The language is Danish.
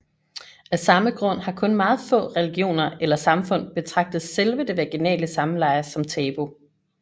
Af samme grund har kun meget få religioner eller samfund betragtet selve det vaginale samleje som tabu